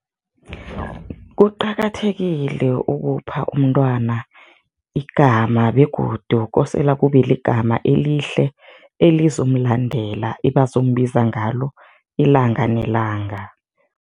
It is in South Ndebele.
Kuqakathekile ukupha umntwana igama begodu kosele kube ligama elihle, elizomlandela, ebazombiza ngalo ilanga nelanga.